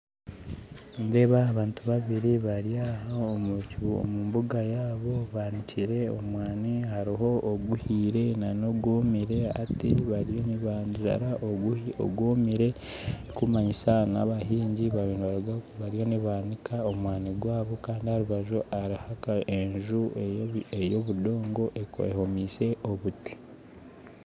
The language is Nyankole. Nindeeba abantu babiri bari omu mbuga yaabo banikire omwani hariho oguhire nana ogwomire hati bariyo nibanzara ogwomire ekirikumanyisa n'abahingi bariyo nibaniika omwani gwabo nindeeba aha rubaju hariho enju y'obudogo ehomiise obuti